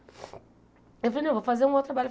Eu falei, não, eu vou fazer um outro trabalho.